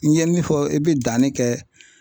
I ye min fɔ i bɛ danni kɛ